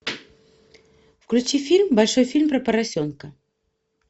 включи фильм большой фильм про поросенка